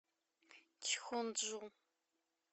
чхонджу